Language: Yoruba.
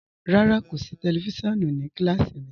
Rárá, kò sí tẹlifísiọ̀nù ní kílásí mí.